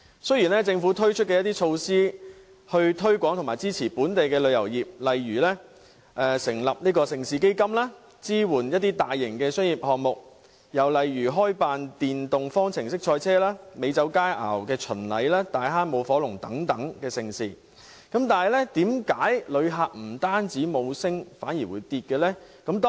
雖然政府推出一系列措施推廣本地旅遊業，例如成立盛事基金，支援大型商業項目，開辦電動方程式賽車、美酒佳餚巡禮、大坑舞火龍等盛事，旅客人數卻不升反跌。